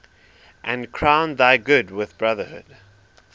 and crown thy good with brotherhood